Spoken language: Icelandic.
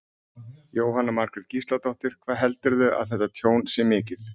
Jóhanna Margrét Gísladóttir: Hvað heldurðu að þetta tjón sé mikið?